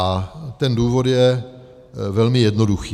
A ten důvod je velmi jednoduchý.